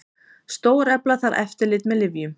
Stórefla þarf eftirlit með lyfjum